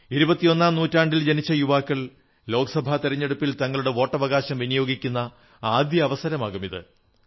ഇരുപത്തിയൊന്നാം നൂറ്റാണ്ടിൽ ജനിച്ച യുവാക്കൾ ലോക്സഭാ തിരഞ്ഞെടുപ്പിൽ തങ്ങളുടെ വോട്ടവകാശം വിനിയോഗിക്കുന്ന ആദ്യത്തെ അവസരമാകും ഇത്